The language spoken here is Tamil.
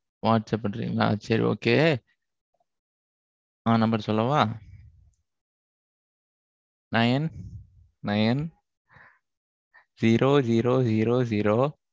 WhatsApp பண்றிங்களா? சரி okay உங்க number சொல்லுங்க sir ஆ, number சொல்லவா? சொல்லுங்க Nine nine zero zero zero zero